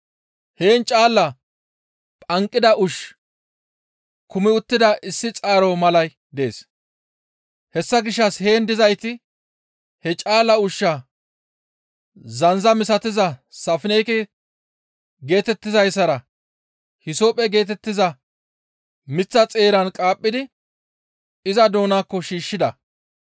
Heen caala phanqida ushshi kumi uttida issi xaaro malay dees. Hessa gishshas heen dizayti he caala ushshaa zandza misatiza safinege geetettizayssara hisophphe geetettiza miththa xeeran qaaphidi iza doonaakko shiishshida.